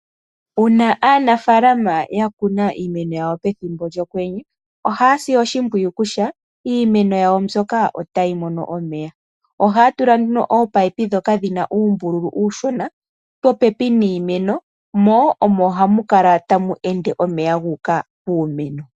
Uuna aanafaalama yakuna iimeno yawo pethimbo lyokwenye oha yasi oshimpwiyu kutya iimeno yawo mbyoka otayi mono omeya . Ohaya tula ominino ndhoka dhina uumbululu uushona popepi niimeno ohamu kala tamu ende omeya gu uka piimeno.